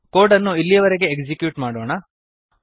code ಅನ್ನು ಇಲ್ಲಿಯವರೆಗೆ execute ಮಾಡೋಣ